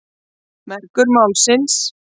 Mergur málsins.